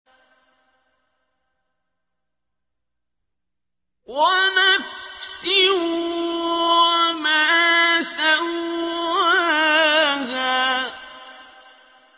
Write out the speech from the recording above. وَنَفْسٍ وَمَا سَوَّاهَا